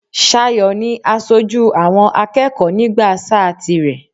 Ṣayọ̀ ni asoju àwọn akẹ́kọ̀ọ́ nígbà sáà tirẹ̀.